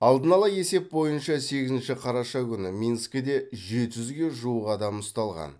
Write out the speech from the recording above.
алдын ала есеп бойынша сегізінші қараша күні минскіде жеті жүзге жуық адам ұсталған